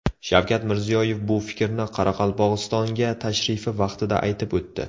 Shavkat Mirziyoyev bu fikrni Qoraqalpog‘istonga tashrifi vaqtida aytib o‘tdi.